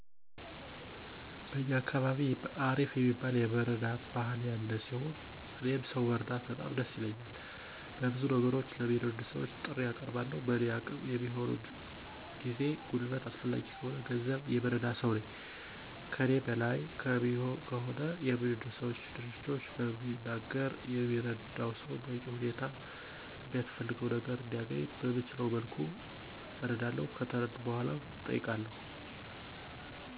በእኛ አካባቢ አሪፍ የሚባል የመረዳዳት ባህል ያለ ሲሆን፤ እኔም ሰው መርዳት በጣም ደስ ይለኛል። በብዙ ነገሮች ለሚረዱ ሰወች ጥሪ አቀርባለሁ። በእኔ አቅም የሚሆነውን ጊዜ፣ ጉልበት አስፈላጊ ከሆነ በገንዘብ የምረዳ ሰው ነኝ። ከእኔ በላይ ከሆነ የሚረዱ ሰወች፣ ድርጅቶችን በሚናገር የሚረዳው ሰው በበቂ ሁኔታ የሚያስፈልገው ነገር እንዲያነኝ በምችለው መልኩ አረዳለሁ። ከተረዳ በኃላ እጠይቀዋለሁ።